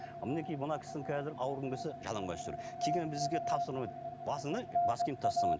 мінекей мына кісінің қазір ауырғың келсе жалаңбас жүр басында бас киім тастамайды